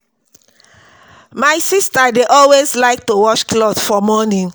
My sister dey always like to wash cloth for morning